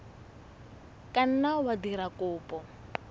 ka nna wa dira kopo